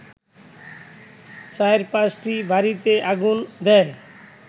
৪/৫টি বাড়িতে আগুন দেয়